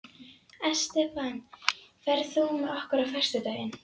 Estefan, ferð þú með okkur á föstudaginn?